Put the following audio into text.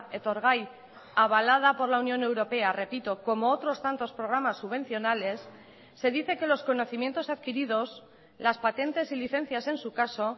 etorgai avalada por la unión europea repito como otros tantos programas subvencionales se dice que los conocimientos adquiridos las patentes y licencias en su caso